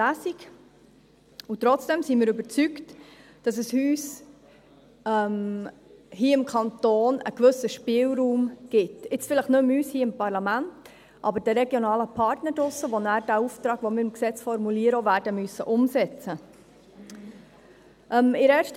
Trotzdem sind wir überzeugt, dass es uns hier im Kanton einen gewissen Spielraum gibt – vielleicht nicht mehr uns, hier im Parlament, aber den regionalen Partnern draussen, die nachher den Auftrag, den wir im Gesetz formulieren werden, auch werden umsetzen müssen.